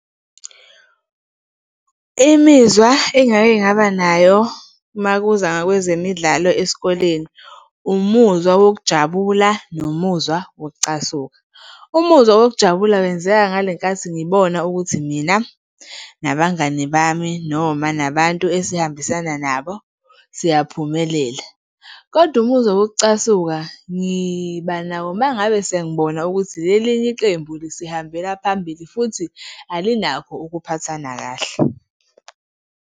Imizwa engake ngaba nayo uma kuza kwezemidlalo esikoleni, umuzwa wokujabula nomuzwa wokucasuka. Umuzwa wokujabula wenzeka ngalenkathi ngibona ukuthi mina nabangani bami noma nabantu esihambisana nabo, siyaphumelela. Kodwa umuzwa wokucasuka ngiba nawo uma ngabe sengibona ukuthi leli elinye iqembu lisihambela phambili futhi alikho ukuphathana kahle.